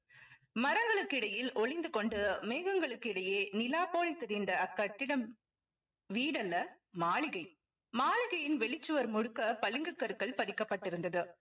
மரங்களுக்கிடையில் ஒளிந்து கொண்டு மேகங்களுக்கு இடையே நிலா போல் தெரிந்த அக்கட்டிடம் வீடல்ல மாளிகை மாளிகையின் வெளிச்சுவர் முழுக்க பளிங்கு கற்கள் பதிக்கப்பட்டிருந்தது